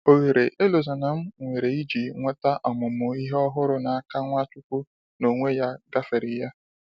Oghere Elozonam nwere iji nweta ọmụmụ Ihe ọhụrụ na -aka Nwachukwu n'onwe ya gáfèrè ya